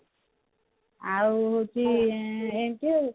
ଆଉ ହଉଛି ରିଙ୍କୁ